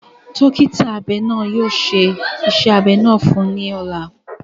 Dọkita abẹ naa yóò ṣe iṣẹ abẹ naa fun u ni ọla.